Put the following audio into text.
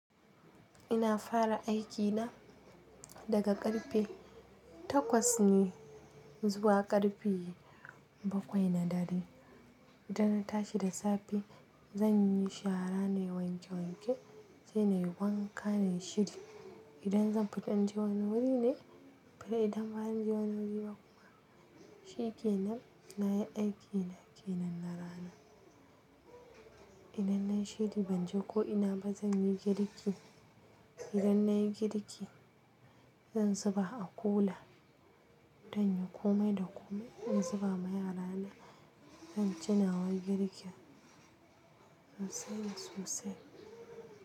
Ina fara aikina daga ƙarfe takwas ne zuwa ƙarfe baƙwai na dare. Idan na tashi da safe zanyi shara na yi wanke wanke, sai nayi wanka na yi shiri. Idan zan fita inje wani wuri ne, kar idan ba zan je wani wuri ba kuma, shikenan na yi aikina kenan na rana. Idan nayi shiri banje ko ina ba zanyi girki. Idan nayi girki zan zuba a kula, dan inyi komai da komai. In zuba ma yarana zanci nawa girkin in sanya sosai.